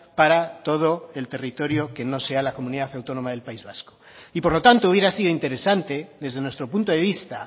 para todo el territorio que no sea la comunidad autónoma del país vasco y por lo tanto hubiera sido interesante desde nuestro punto de vista